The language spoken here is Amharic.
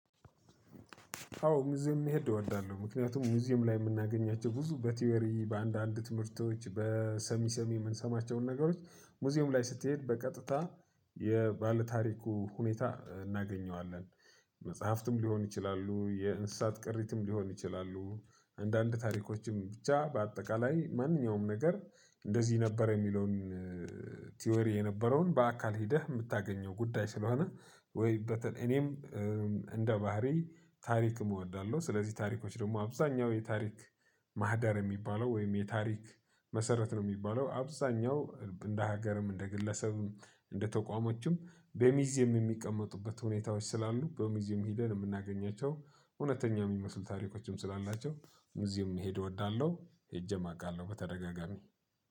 አዎ ሙዝየም መሄድ እወዳለሁ። ምክንያቱም ሙዝየም ላይ የምናገኛቸው ብዙ በቲዎሪ፣ በአንዳንድ ትምህርቶች፣ በሰሚ ሰሚ የምንሰማቸውን ነገሮች ሙዚየም ላይ ስትሄድ በቀጥታ የባለታሪኩ ሁኔታ እናገኘዋለን። መጽሐፍትም ሊሆን ይችላሉ፣ የእንስሳት ቅሪትም ሊሆን ይችላሉ፣ አንዳንድ ታሪኮችም ብቻ በአጠቃላይ ማንኛውም ነገር እንደዚህ ነበር የሚለውን ቲዎሪ የነበረውን በአካል ሂደህ የምታገኘው ጉዳይ ስለሆነ ወይ በተለይ እኔም እንደ ባህሪ ታሪክም እወዳለሁ። ስለዚህ ታሪኮች ደግሞ አብዛኛው የታሪክ ማህደር የሚባለው ወይም የታሪክ መሰረት ነው የሚባለው አብዛኛው እንደ ሀገርም እንደ ግለሰብም እንደ ተቋሞችም በሚዜም የሚቀመጡበት ሁኔታዎች ስላሉ በሙዚየም ሂደን የምናገኛቸው እውነተኛ የሚመስሉ ታሪኮችም ስላላቸው ሙዚየም መሄዶ እወዳለሁ፣ ሄጄም አውቃለሁ በተደጋጋሚ።